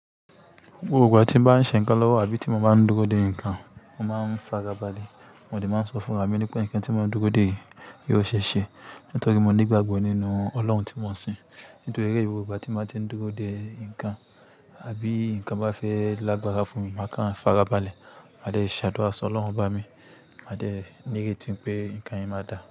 Gbogbo ìgbà tí mo bá ń ṣe ńǹkan lọ́wọ́ àbí tí mo bá ń dúró de ǹkan, mo máa ń farabalẹ̀. Wọ́n de máa ń sọ fún ra mi pé ǹkan tí mo n dúró de yi yio ṣeeṣe nítorí mo ní ìgbàgbọ́ nínú Ọlọ́run tí mo ń sìn. Nítorí ẹ́, gbogbo ìgbà tí mo bá ti ń dúró de ǹkan àbí ǹkan bá fẹ́ lágbára fún mi, màá kàn farabalẹ̀. Màá dẹ́ ṣàdúrà sọ Ọlọ́run ba mi, màá jẹ́ ní ìrètí pé ǹkan yen máa dà.